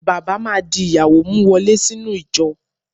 Bàbá má di ìyàwó mú wọlé sínú ìjọ.